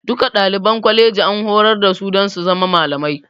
Duka ɗaliban kwaleji an horar da su dan su zama malamai